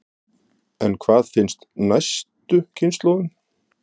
En hvað finnst næstu kynslóðum?